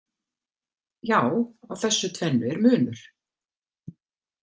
Já, á þessu tvennu er munur.